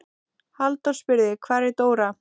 Halldór spurði: Hvar er Dóra?